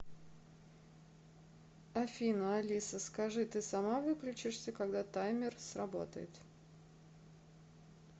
афина алиса скажи ты сама выключишься когда таймер сработает